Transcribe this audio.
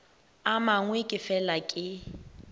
a mangwe ke fela ke